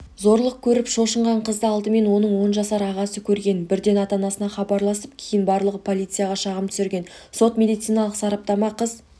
зорлық көріп шошынған қызды алдымен оның он жасар ағасы көрген бірден ата-анасына хабарлап кейін барлығы полицияға шағым түсірген сот-медициналық сараптама қыз